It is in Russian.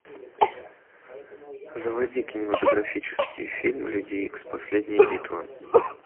заводи кинематографический фильм люди икс последняя битва